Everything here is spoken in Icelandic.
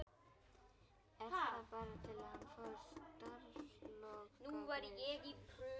Er það bara til að hann fái starfslokagreiðslur?